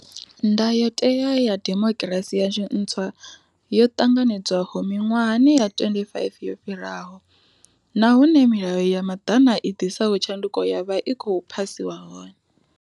Ndayotewa ya demokirasi yashu ntswa yo ṱanganedzwaho miṅwahani ya 25 yo fhiraho, na hune milayo ya maḓana i ḓisaho tshanduko ya vha i khou phasiwa hone.